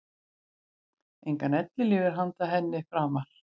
Engan ellilífeyri handa henni framar.